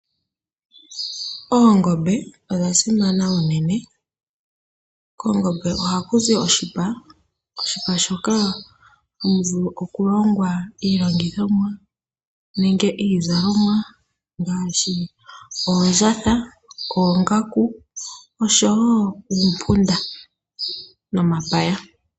Oongombe odha simana unene. Koongombe ohaku zi oshipa . Moshipa shoka hamu vulu oku longwa iilongithomwa nenge iizalomwa ngaashi oondjatha, oongaku nosho woo uumpunda nomapaya.